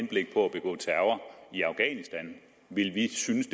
begå terror i afghanistan ville vi synes